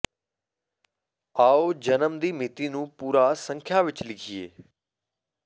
ਆਓ ਜਨਮ ਦੀ ਮਿਤੀ ਨੂੰ ਪੂਰਾ ਸੰਖਿਆ ਵਿਚ ਲਿਖੀਏ